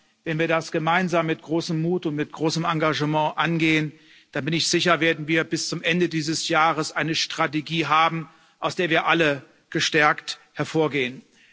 Aber wenn wir das gemeinsam mit großem Mut und mit großem Engagement angehen, da bin ich sicher, werden wir bis zum Ende dieses Jahres eine Strategie haben, aus der wir alle gestärkt hervorgehen.